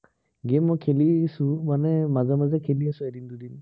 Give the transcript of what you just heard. game মই খেলিছো, মানে মাজে মাজে খেলি আছো, এদিন দুদিন।